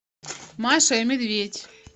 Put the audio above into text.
маша и медведь